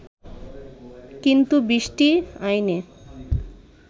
কিন্তু বৃষ্টি আইনে